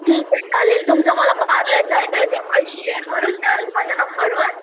चालेल तुमचा पार्लरचा ऍड्रेस एकवेळ शेअर करून द्याल माझ्या नंबरवर